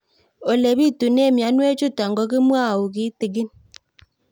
Ole pitune mionwek chutok ko kimwau kitig'ín